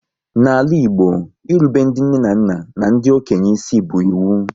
N'ala Igbo, irube ndị nne na nna n'ndi okenye isi bu ịwu